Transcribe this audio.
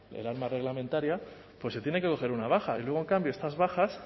el arma reglamentaria pues se tiene que coger una baja y luego en cambio estas bajas